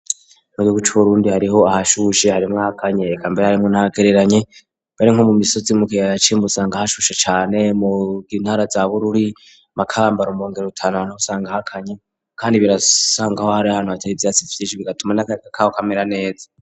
Mu gihugu c'uburundi hariho ahashuse hari mwaka nyee kambere arimo nagereranye bare nko mu misozi mu kiye yacimba usanga ahashushe cyane mugintara za bururi makambaro mrongero rutanu hanta usanga hakanye kandi birasangaho hari hantu hataye ibyatsi ifitise bigatuma n'akarega kawo kamera neza.